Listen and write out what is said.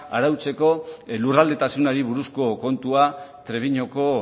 arautzeko lurraldetasunari buruzko kontua treviñoko